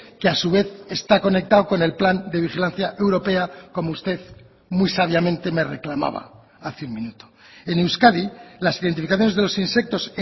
que a su vez está conectado con el plan de vigilancia europea como usted muy sabiamente me reclamaba hace un minuto en euskadi las identificaciones de los insectos